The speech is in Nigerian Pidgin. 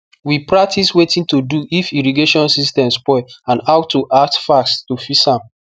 we practice wetin to do if irrigation system spoil and how to act fast to fix am